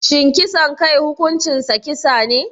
Shin kisan kai hukuncinsa kisa ne?